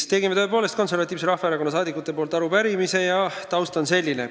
Me tegime tõepoolest Konservatiivse Rahvaerakonna saadikute nimel arupärimise ja taust on selline.